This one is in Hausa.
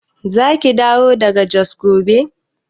Zaki dawo daga Jos gobe?